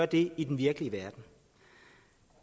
det i den virkelige verden